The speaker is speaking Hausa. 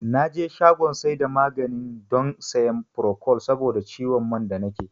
Naje shagon saida maganin don siyan furokol saboda ciwon man da nake